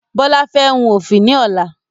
Bọlá fẹ́ hun ofi ni ọ̀la